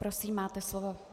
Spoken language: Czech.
Prosím, máte slovo.